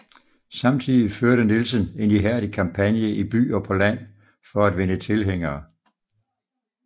Samtidig førte Nielsen en ihærdig kampagne i by og på land for at vinde tilhængere